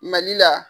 Mali la